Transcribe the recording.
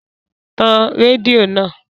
Tan rédíò náà!